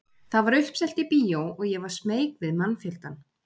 Það var uppselt í bíó og ég var smeyk við mannfjöldann.